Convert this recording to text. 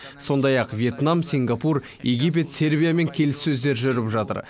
сондай ақ вьетнам сингапур египет сербиямен келіссөздер жүріп жатыр